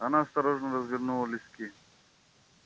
она осторожно развернула листки